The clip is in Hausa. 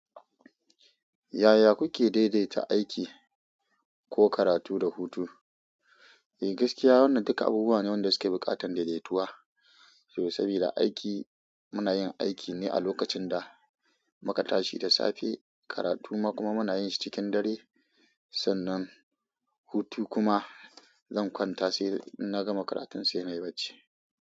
Yaya kuke daidaita aiki ko karatu da hutu? Eh gaskiya wannan duka abubuwa ne waɗanda suke buƙatar daidaituwa, saboda aiki muna yin aiki ne a lokacin da muka tashi da safe, karatu kuma muna yin shi cikin dare, sannan hutu kuma zan kwanta sai in na gama karatun sai nayi barci.